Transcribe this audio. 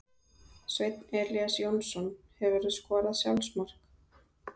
Sveinn Elías Jónsson Hefurðu skorað sjálfsmark?